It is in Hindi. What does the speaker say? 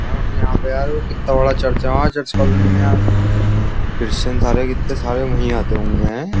यार अपने वहाँ पे वो कित्ता बड़ा चर्च है यार क्रिस्चियन कॉलोनी में यार क्रिस्चियन सारे कित्ते सारे वहीँ आते होंगे एँ।